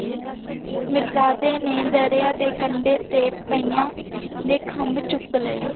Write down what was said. ਮਿਰ੍ਜ਼ਾਡੀ ਨੇ ਦਰਯਾ ਦੇ ਕੰਡੇ ਤਾ ਪਾਰਿਯਾੰ ਦੇ ਖੰਭ ਚੂਕ ਲੇ